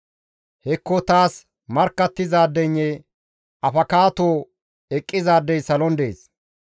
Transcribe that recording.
Hekko taas markkattizaadeynne afakaato eqqizaadey salon dees.